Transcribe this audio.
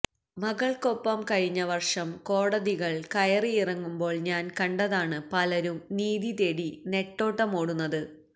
മകൾക്കൊപ്പം കഴിഞ്ഞ വർഷം കോടതികൾ കയറിയിറങ്ങുമ്പോൾ ഞാൻ കണ്ടതാണ് പലരും നീതി തേടി നെട്ടോട്ടമോടുന്നത്